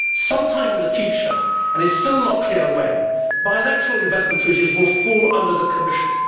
Some time in the future, and it is still not clear when, bilateral investment treaties will fall under the Commission.